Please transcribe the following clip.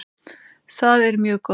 Það er mjög gott.